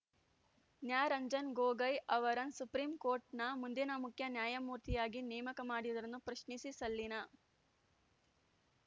ನ್ಯಾ ರಂಜನ್‌ ಗೊಗೊಯ್‌ ಅವರನ್ ಸುಪ್ರೀಂಕೋರ್ಟ್‌ನ ಮುಂದಿನ ಮುಖ್ಯ ನ್ಯಾಯಮೂರ್ತಿಯಾಗಿ ನೇಮಕ ಮಾಡಿರುವುದನ್ನು ಪ್ರಶ್ನಿಸಿ ಸಲ್ಲಿಸನ